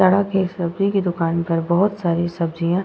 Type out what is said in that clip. सड़क है। सब्जी की दुकान पर बोहोत सारी सब्जियां --